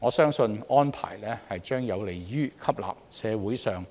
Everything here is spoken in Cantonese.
我相信安排將有利於吸納社會上